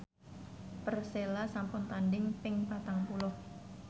Persela sampun tandhing ping patang puluh